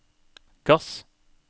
gass